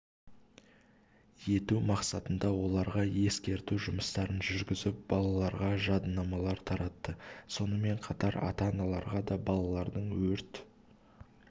ету мақсатында оларға ескерту жұмыстарын жүргізіп балаларға жадынамалар таратты сонымен қатар ата-аналарға да балалардың өрт